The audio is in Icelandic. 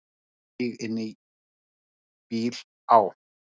Stíg inn í bíl, á.